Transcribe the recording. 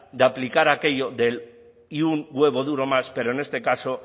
de aplicar aquello del y un huevo duro más pero en este caso